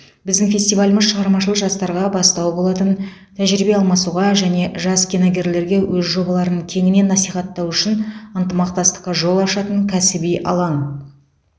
біздің фестиваліміз шығармашыл жастарға бастау болатын тәжірибе алмасуға және жас киногерлерге өз жобаларын кеңінен насихаттау үшін ынтымақстастыққа жол ашатын кәсіби алаң